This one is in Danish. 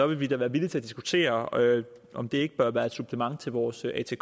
vil vi da være villige til at diskutere om det ikke bør være et supplement til vores atk